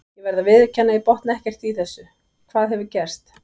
Ég verð að viðurkenna að ég botna ekkert í þessu, hvað hefur gerst?